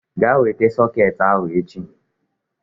Gaa weta sọket ahụ echi!